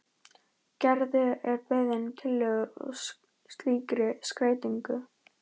Gerður er beðin um tillögur að slíkri skreytingu.